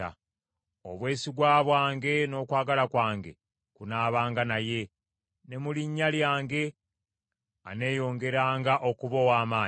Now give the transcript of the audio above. Obwesigwa bwange n’okwagala kwange kunaabanga naye, ne mu linnya lyange aneeyongeranga okuba ow’amaanyi.